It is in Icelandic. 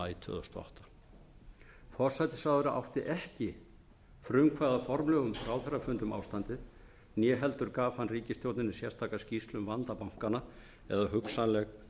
tvö þúsund og átta forsætisráðherra átti ekki frumkvæði að formlegum ráðherrafundum um ástandið né heldur gaf hann ríkisstjórninni sérstaka skýrslu um vanda bankanna eða hugsanleg